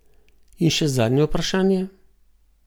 In še zadnje vprašanje.